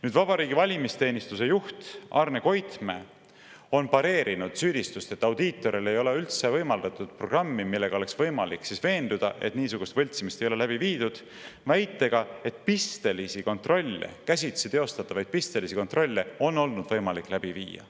Nüüd, vabariigi valimisteenistuse juht Arne Koitmäe on pareerinud süüdistust, et audiitorile ei ole üldse võimaldatud programmi, millega oleks võimalik veenduda, et niisugust võltsimist ei ole läbi viidud, väitega, et pistelisi kontrolle, käsitsi teostatavaid pistelisi kontrolle on olnud võimalik läbi viia.